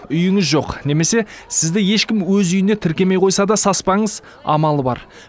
үйіңіз жоқ немесе сізді ешкім өз үйіне тіркемей қойса да саспаңыз амалы бар